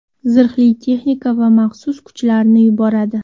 zirhli texnika va maxsus kuchlarni yuboradi.